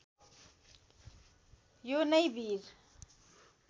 यो नै वीर